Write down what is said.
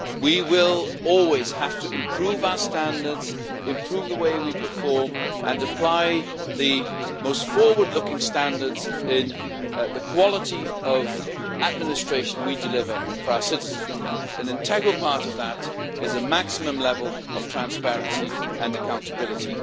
We will always have to improve our standards, improve the way we perform and apply the most forward looking standards in the quality of administration we deliver for our citizens, and an integral part of that is a maximum level of transparency and accountability.